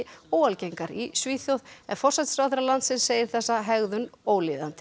óalgengar í Svíþjóð en forsætisráðherra landsins segir þessa hegðun ólíðandi